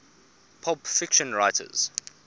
pulp fiction writers